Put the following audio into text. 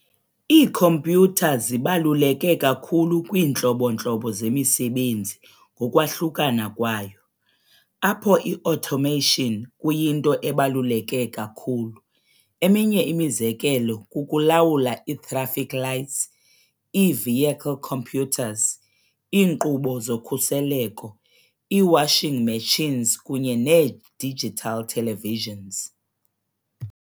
Iikhompyutha zibaluleke kakhulu kwiintlobo-ntlobo zemisebenzi ngokwahlukana kwayo, apho i-automation kuyinto ebaluleke kakhulu. eminye imizekelo kukulawula ii-traffic lights, ii-vehicle computers, iinkqubo zokhuseleko, ii-washing machines kunye nee-digital televisions.